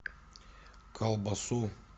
колбасу